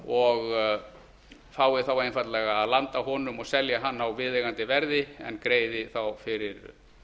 og fái þá einfaldlega að landa honum og selja hann á viðeigandi verði en greiði þá fyrir